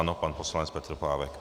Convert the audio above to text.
Ano, pan poslanec Petr Pávek.